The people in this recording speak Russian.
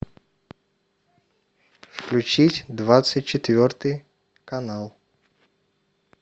включить двадцать четвертый канал